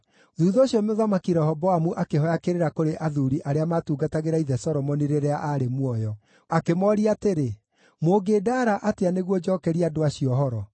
Thuutha ũcio Mũthamaki Rehoboamu akĩhooya kĩrĩra kũrĩ athuuri arĩa maatungatagĩra ithe Solomoni rĩrĩa aarĩ muoyo. Akĩmooria atĩrĩ, “Mũngĩndaara atĩa nĩguo njookerie andũ acio ũhoro?”